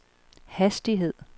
hastighed